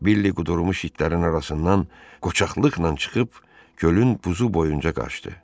Billi qudurmuş itlərin arasından qoçaqlıqla çıxıb gölün buzu boyunca qaçdı.